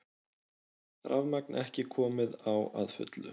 Rafmagn ekki komið á að fullu